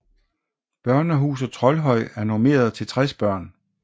Børnehuset Troldhøj er normeret til 60 børn